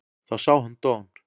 Þá sá hann Don